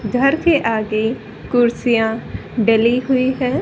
घर के आगे कुर्सियां डली हुई हैं।